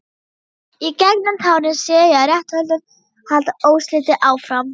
Í gegnum tárin sé ég að réttarhöldin halda óslitið áfram.